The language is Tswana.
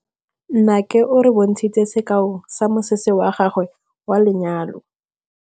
Nnake o re bontshitse sekaô sa mosese wa gagwe wa lenyalo.